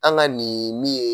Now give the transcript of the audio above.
An ka nin min ye.